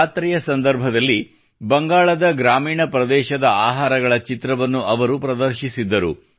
ಜಾತ್ರೆಯ ಸಂದರ್ಭದಲ್ಲಿ ಬಂಗಾಳದ ಗ್ರಾಮೀಣ ಪ್ರದೇಶದ ಆಹಾರಗಳ ಚಿತ್ರವನ್ನು ಅವರು ಪ್ರದರ್ಶಿಸಿದ್ದರು